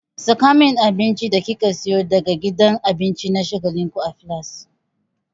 Saka min abincin da kika siyo daga gidan abinci na shagalinku a filas!